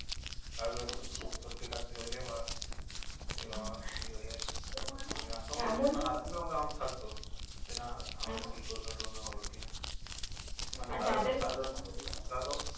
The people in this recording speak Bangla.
কারোর একটু খুব সর্দি কাশি হলে বাস এই বাবা কি হয়ে গেছে যে না আবার কি করোনা টোরোনা কিনা